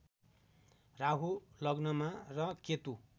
राहु लग्नमा र केतु